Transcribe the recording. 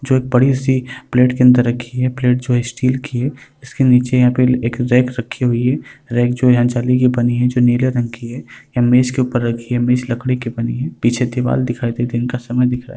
जो बड़ी सी प्लेट के अंदर रखी है प्लेट जो है स्टील की है इसके नीचे यहाँ पे एक रैक रखी हुयी है रैक जो यहाँ जाली की बनी है जो नीले रंग की है ये मेज के ऊपर रखी है मेज लकड़ी की बनी है पीछे दीवाल दिखाई दे रही है दिन का समय दिख रहा।